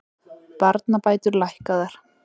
Barnabætur lækkaðar